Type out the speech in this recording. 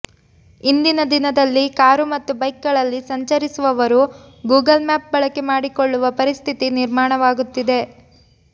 ಇಂದಿನ ದಿನದಲ್ಲಿ ಕಾರು ಮತ್ತು ಬೈಕ್ ಗಳಲ್ಲಿ ಸಂಚರಿಸುವವರು ಗೂಗಲ್ ಮ್ಯಾಪ್ ಬಳಕೆ ಮಾಡಿಕೊಳ್ಳುವ ಪರಿಸ್ಥಿತಿ ನಿರ್ಮಾಣವಾಗುತ್ತಿದೆ